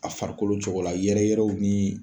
A farikolo cogo la yɛrɛ yɛrɛw ni.